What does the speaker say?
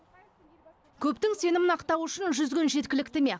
көптің сенімін ақтау үшін жүз күн жеткілікті ме